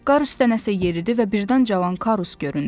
Qar üstə nəsə yeridi və birdən cavan Karus göründü.